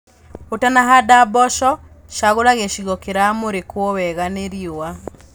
Ũtanahanda mboco cagũra gĩcigo kĩramurĩkwo wega nĩ riũa.